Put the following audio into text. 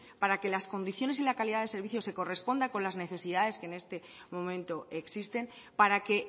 para que las condiciones y la calidad de servicio se corresponda con las necesidades que en este momento existen para que